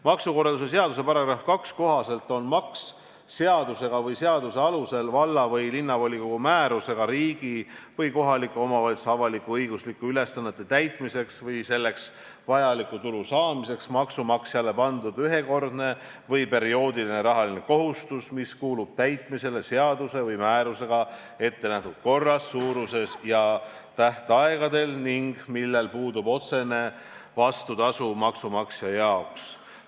" Maksukorralduse seaduse § 2 kohaselt on maks seadusega või seaduse alusel valla- või linnavolikogu määrusega riigi või kohaliku omavalitsuse avalik-õiguslike ülesannete täitmiseks või selleks vajaliku tulu saamiseks maksumaksjale pandud ühekordne või perioodiline rahaline kohustus, mis kuulub täitmisele seaduse või määrusega ette nähtud korras, suuruses ja tähtaegadel ning millel puudub otsene vastutasu maksumaksja jaoks.